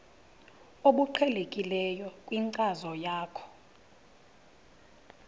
obuqhelekileyo kwinkcazo yakho